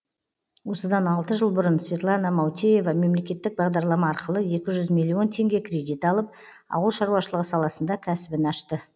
осыдан алты жыл бұрын светлана маутеева мемлекеттік бағдарлама арқылы екі жүз миллион теңге кредит алып ауыл шаруашылығы саласында кәсібін ашты